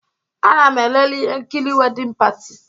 Ana m elele ihe nkiri Wedding Party.